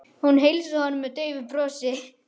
Hún heilsaði honum með daufu brosi.